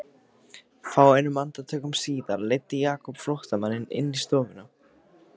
Fáeinum andartökum síðar leiddi Jakob flóttamanninn inn í stofuna.